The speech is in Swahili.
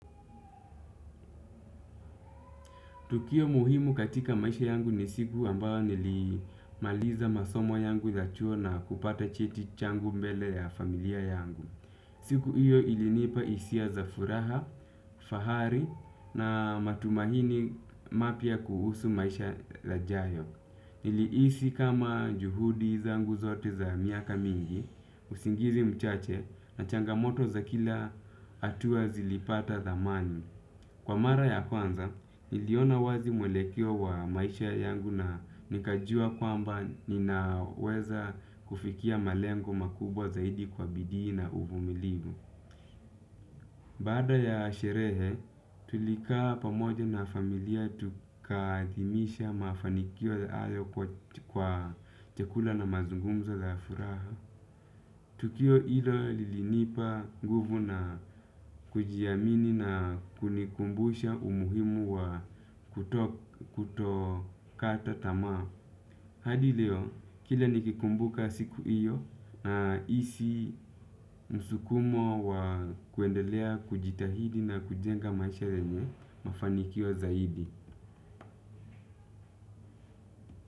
Tukio muhimu katika maisha yangu ni siku ambayo nilimaliza masomo yangu ya chuo na kupata cheti changu mbele ya familia yangu. Siku hiyo ilinipa hisia za furaha, fahari na matumaini mapya kuhusu maisha yajayo. Nilihisi kama juhudi zangu zote za miaka mingi, usingizi mchache na changamoto za kila hatua zilipata thamani. Kwa mara ya kwanza, niliona wazi mwelekeo wa maisha yangu na nikajua kwamba ninaweza kufikia malengo makubwa zaidi kwa bidii na uvumilivu. Baada ya sherehe, tulikaa pamoja na familia tukaadhimisha mafanikio hayo kwa chakula na mazungumzo la furaha. Tukio hilo lilinipa nguvu na kujiamini na kunikumbusha umuhimu wa kutokata tamaa. Hadi leo, kila nikikumbuka siku hiyo nahisi msukumo wa kuendelea kujitahidi na kujenga maisha yenye mafanikio zaidi.